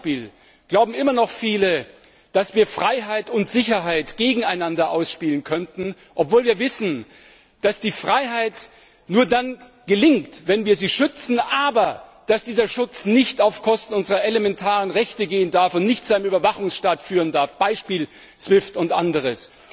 Zum Beispiel glauben immer noch viele, dass wir Freiheit und Sicherheit gegeneinander ausspielen können, obwohl wir wissen, dass die Freiheit nur dann gelingt, wenn wir sie schützen, aber dass dieser Schutz nicht auf Kosten unserer elementaren Rechte gehen darf und nicht zu einem Überwachungsstaat führen darf Beispiel SWIFT und anderes.